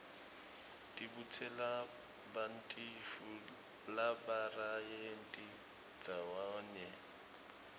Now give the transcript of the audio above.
tibutselabantifu labarayenti ndzawanye